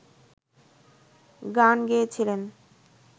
গান গেয়েছিলেন